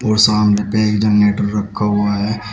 और सामने पे एक जनरेटर रखा हुआ है।